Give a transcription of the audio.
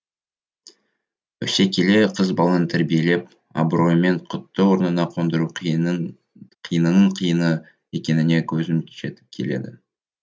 өсе келе қыз баланы тәрбиелеп абыройымен құтты орнына қондыру қиынның қиыны екеніне көзім жетіп келеді